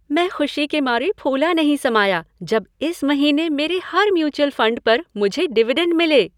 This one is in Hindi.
मैं खुशी के मारे फूला नहीं समाया जब इस महीने मेरे हर म्यूचुअल फंड पर मुझे डिविडेंड मिले।